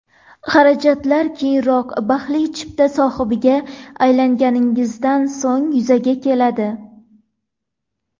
Xarajatlar keyinroq, baxtli chipta sohibiga aylanganingizdan so‘ng yuzaga keladi.